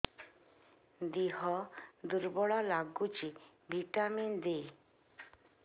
ଦିହ ଦୁର୍ବଳ ଲାଗୁଛି ଭିଟାମିନ ଦେ